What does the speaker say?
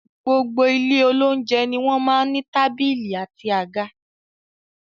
Gbogbo ile olounjẹ ní wọn máa n ní tábìlì àti àga